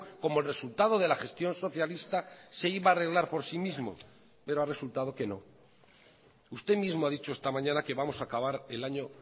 como el resultado de la gestión socialista se iba a arreglar por sí mismo pero ha resultado que no usted mismo ha dicho esta mañana que vamos a acabar el año